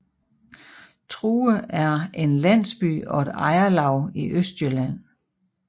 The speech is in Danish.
True er en landsby og et ejerlav i Østjylland